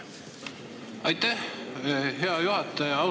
Aitäh, hea juhataja!